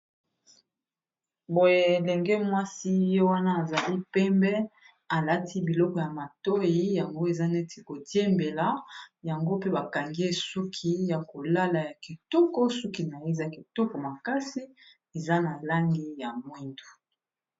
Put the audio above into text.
Boye elenge mwasi ye wana azali pembe alati biloko ya matoyi yango eza neti ko diembela yango pe bakangi ye suki ya kolala ya kitoko suki naye eza kitoko makasi eza na langi ya mwindu.